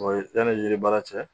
Wayi, bɛɛ labɔlen baara cɛ.